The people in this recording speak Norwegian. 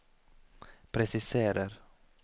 presiserer